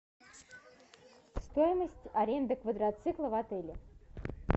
стоимость аренды квадроцикла в отеле